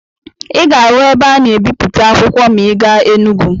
Ị ga-ahụ ebe a na-ebipụta akwụkwọ ma ị gaa Enugwu.